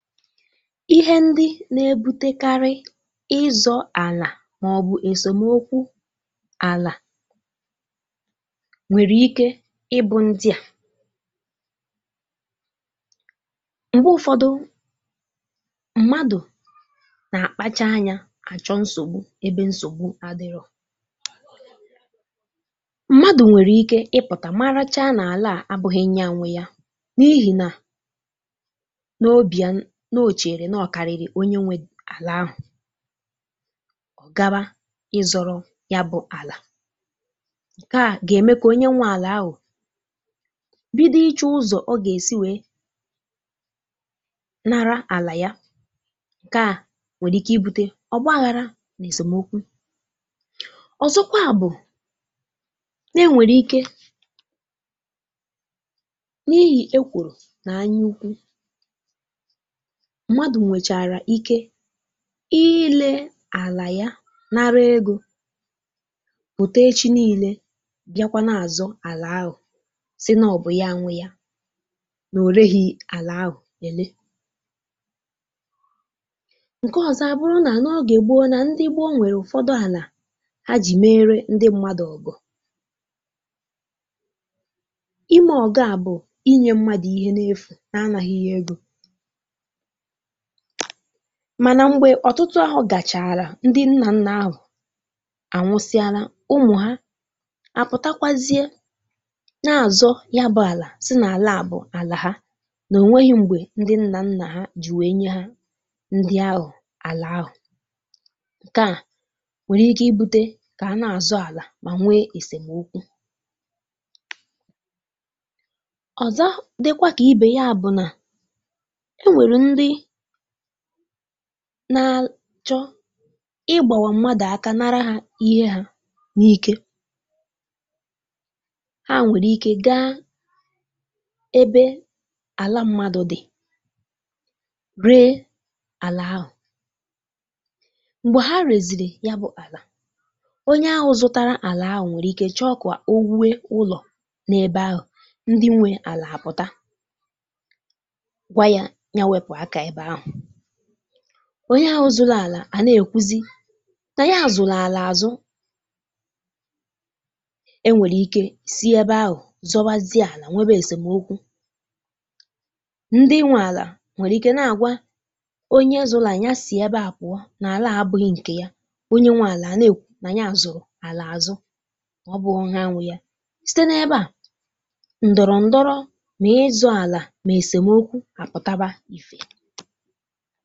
Ihe ndị na-ebutekarị ịzọ ala maọbụ esemokwu ala nwere ike ịbụ ndị a. Mgbe ụfọdụ, mmadụ na-akpacha anya achọ nsogbu ebe nsogbu adịrọ. Mmadụ nwere ike ịpụta marachaa na ala a abụghị nnya nwe ya n'ihi na n'obi ya no ocheere na ọ karịrị onye nwe ala ahụ gaba ịzọrọ yabụ ala. Nke a ga-eme ka onye nwe ala ahụ bido ịchọ ụzọ ọ ga-esi wee nara ala ya. Nke a nwere ike ibute ọgbaghara na esemokwu. Ọzọkwa bụ na-enwere ike n'ihi ekworo na anyaukwu, mmadụ nwechara ike ile ala ya nara ego pụta echi niile biakwa na-azọ ala ahụ, sị nọ ọ bụ ya nwe ya, na o reghi ala ahụ ele. Nke ọzọ a bụrụ na n'oge gboo na ndị gboo nwere ụfọdụ ala ha ji meere ndị mmadụ ọ̀gọ̀. Ime ọgọ a bụ inye mmadụ ihe n'efu, na-anaghị ya ego. Mana mgbe ọtụtụ ahọ gachaara ndị nna nna ahụ anwụsịala, ụmụ ha apụtakwazie na - azọ yabụ ala sị na ala a bụ ala ha na o nweghi mgbe ndị nna nna ji wee nye ha ndị ahụ ala ahụ. Nke a nwere ike ibute ka a na-azọ ala ma nwee esemokwu. Ọzọ dịkwa ka ibe ya bụ na e nwere ndị na-achọ ị́gbawa mmadụ aka nara ha ihe ha n'iké. Ha nwere ike gaa ebe ala mmadụ dị, ree ala ahụ. Mgbe ha reziri yabụ ala, onye ahụ zụtara ala ahụ nwere ike chọọ ka o wue ụlọ n'ebe ahụ. Ndị nwe ala apụta gwa ya ya wepụ aka ebe ahụ. Onye ahụ zụrụ ala a na-ekwuzi na ya zụrụ ala azụ. E nwere ike si ebe ahụ zọbazie ala, nwebe esemokwu. Ndị nwe ala nwere ike na-agwa onye zụrụ ala ya si ebe ahụ pụọ na ala a abụghị nke ya. Onye zụrụ ala a na-ekwu na nya zụrụ ala azụ, na ọ bụghọ ha nwe ya. Site n'ebe a, ndọrọndọrọ na ịzọ ala na esemeokwu apụtaba.